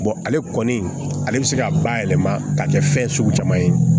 ale kɔni ale bɛ se ka bayɛlɛma ka kɛ fɛn sugu caman ye